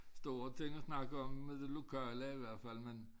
Store ting at snakke om med det lokale i hvert fald men